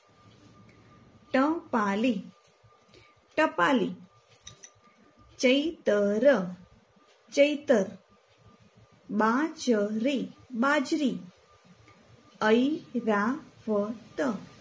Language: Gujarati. ટપાલી ટપાલી ચૈતર ચૈતર બાજરી બાજરી ઐરાવત